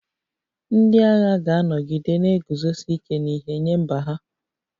Ndị agha ga-anọgide na-eguzosi ike n'ihe nye mba ha